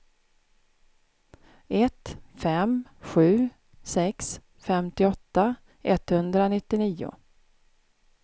ett fem sju sex femtioåtta etthundranittionio